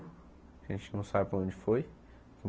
A gente não sabe para onde foi.